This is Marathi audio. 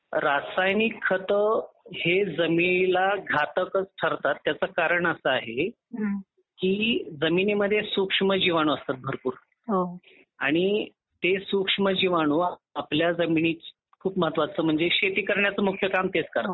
रासायनिक खत हे जमीनीला घातक घातकच ठरतात त्याचं कारणच असं आहे की जमिनीमध्ये सूक्ष्मजीवाणू असतात भरपूर हो आणि ते सूक्ष्मजीवाणू आपल्या जमिनीची खूप महत्त्वाचं म्हणजे शेती करण्याचे मुख्य काम तेच करतात.